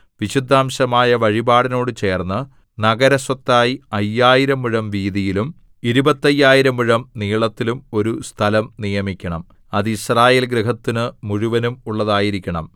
വിശുദ്ധാംശമായ വഴിപാടിനോടു ചേർന്ന് നഗരസ്വത്തായി അയ്യായിരം മുഴം വീതിയിലും ഇരുപത്തയ്യായിരം മുഴം നീളത്തിലും ഒരു സ്ഥലം നിയമിക്കണം അത് യിസ്രായേൽ ഗൃഹത്തിനു മുഴുവനും ഉള്ളതായിരിക്കണം